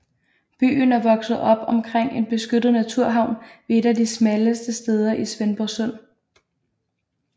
Byen er vokset op omkring en beskyttet naturhavn ved et af de smalleste steder i Svendborgsund